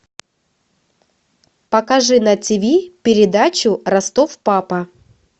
покажи на ти ви передачу ростов папа